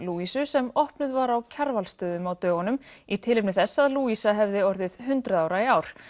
Louisu sem opnuð var á Kjarvalsstöðum á dögunum í tilefni þess að hefði orðið hundrað ára í ár